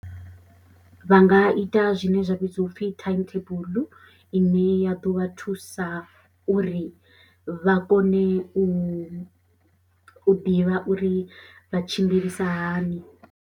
Vha nga ita zwine zwa vhidziwa u pfhi time table ine ya ḓo vha thusa uri vha kone u ḓivha uri vha tshimbilisa hani.